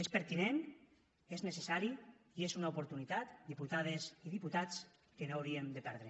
és pertinent és necessari i és una oportunitat diputades i diputats que no hauríem de perdre